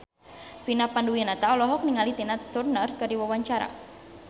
Vina Panduwinata olohok ningali Tina Turner keur diwawancara